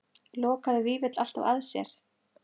Lokaði Vífill alltaf að sér?